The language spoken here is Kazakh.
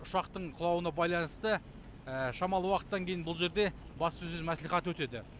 ұшақтың құлауына байланысты шамалы уақыттан кейін бұл жерде баспасөз мәслихаты өтеді